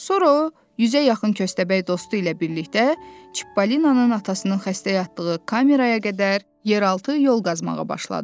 Sonra o, yüzə yaxın köstəbək dostu ilə birlikdə Çipalinanın atasının xəstə yatdığı kameraya qədər yeraltı yol qazmağa başladı.